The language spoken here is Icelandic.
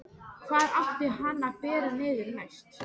Hvar átti hann að bera niður næst?